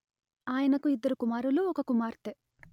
ఆయనకు ఇద్దరు కుమారులు ఒక కుమార్తె